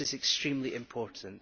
This is extremely important.